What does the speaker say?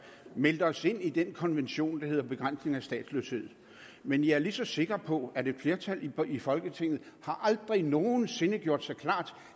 meldt os ind i den konvention der hedder begrænsning af statsløshed men jeg er lige så sikker på at et flertal i folketinget aldrig nogen sinde har gjort sig klart